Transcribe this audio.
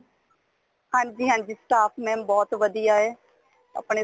ਹਾਂਜੀ ਹਾਂਜੀ staff mam ਬਹੁਤ ਵਧੀਆ ਏ ਆਪਣੇ